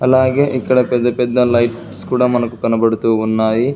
అలాగే ఇక్కడ పెద్ద పెద్ద లైట్స్ కూడా మనకు కనబడుతూ ఉన్నాయి.